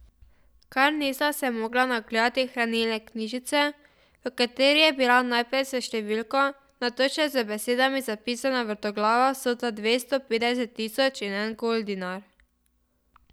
Kar nista se mogla nagledati hranilne knjižice, v kateri je bila najprej s številko, nato še z besedami zapisana vrtoglava vsota dvesto petdeset tisoč in en goldinar.